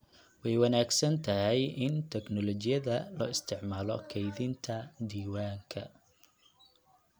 Way wanaagsan tahay in tignoolajiyada loo isticmaalo kaydinta diiwaanka.